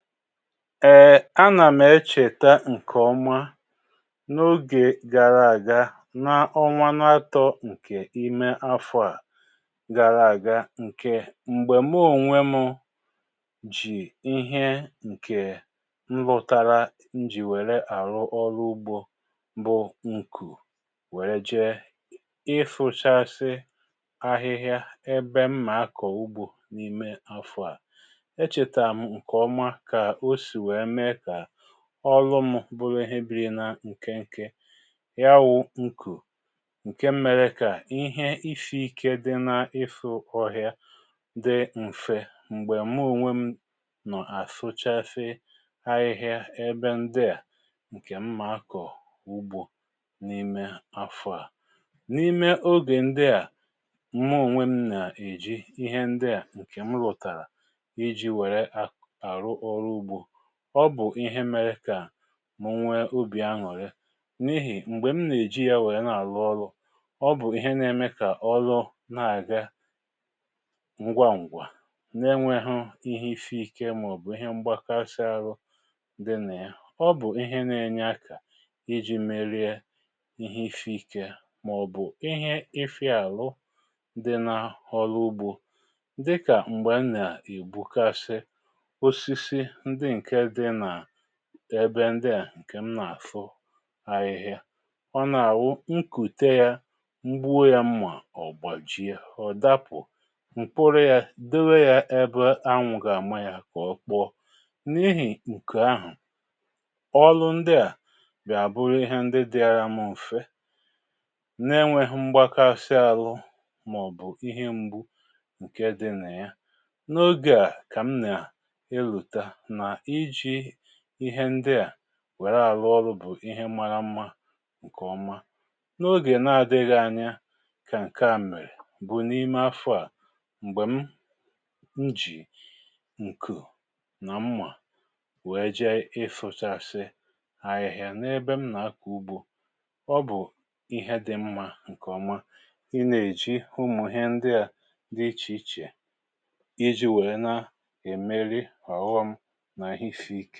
um A nà m èchèta ǹkè ọma n’ogè gara àga na ọnwa n’atọ ǹkè ime afọ à gara àga ǹkè m̀gbè mụ onwe mụ jì ihe ǹkè m rụtara m jì wère àrụ ọrụ ugbȯ bụ ǹkù wère jeé ịfụchasị áhịhịá ebe ḿmà akọ̀ ugbȯ n’ime afọ à. Echeta m nkeọma ka ọ si wee mee ka ọlụm bụrụ ihe bírí na nkénké. Ya wụ nkù, ǹke mèrè kà ihe isi ikė dị n ịfụ ọhịa dị m̀fe m̀gbè mụ ònwe m nọ̀ àsụchasị ahịhịa ebe ndị à ǹkè m ma akọ̀ ùgbò n’ime afọ à. N’ime ogè ndị à, mụ ònwe m nà-èji ihe ndị à ǹkè m rụtàrà ijí wèré arụ ọrụ ugbo, ọ bụ̀ ihe mere kà mụ̀ nwé ubì aṅụ̀rị n’ihi m̀gbè m nà-èji ya wèe na-àlụ ọlụ, ọ bụ̀ ihe na-eme kà ọlụ na-àga ngwa ǹgwà na-enwėghụ ihe isi ikė màọ̀bụ̀ ihe m̀gbákásị arụ dị nà ya. Ọ bụ̀ ihe na-enye akà iji merie ihe isi ikė màọ̀bụ̀ ihe ịfịa àlụ dị na ọlụ ugbȯ. Dịkà m̀gbè m nà-ègbukasị osisi ndị nke dị na ebe ndị à ǹkè m nà-àfụ ahịhịa. Ọ nà-àwụ nkùte yȧ, ngbuo yȧ mmà, ọ̀gbàjie, ọ̀ dapụ̀, m̀kpụrụ yá dewé yá ebe anwụ gà-àmá yà kà ọ kpọọ. N’ihì ǹkè ahụ̀, ọlụ ndị à bịa àbụrụ ihe ndị dịara m m̀fé na-enwėghụ mgbakasị alụ màọ̀bụ̀ ihe mgbu ǹke di nà ya. N’ogè à, kà m nà-elota na iji ihe ndị à wère àlụ ọrụ bụ̀ ihe márá mmȧ ǹkè ọma. N’ogè na-adịghị anya kà ǹke à mèrè bụ̀ n’ime afọ à, m̀gbè m jì ǹkù nà mmà wee jee ịfụchasị ahịhịa n’ebe m nà-akọ̀ ugbȯ. Ọ bụ̀ ihe dị mmȧ ǹkè ọma ị nà-èji ụmụ ihe ndị à dị ichè ichè, íji wèe na-èmeri ọ̀ghọm nà.